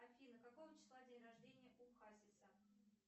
афина какого числа день рождения у хасиса